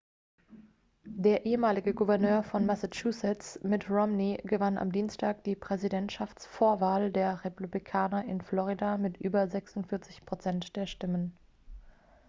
der ehemalige gouverneur von massachusetts mitt romney gewann am dienstag die präsidentschaftsvorwahl der republikaner in florida mit über 46 prozent der stimmen